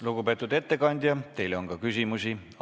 Lugupeetud ettekandja, teile on ka küsimusi.